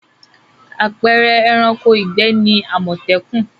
Àpẹẹrẹ ẹranko ìgbẹ́ ni àmọ̀tẹ́kùn.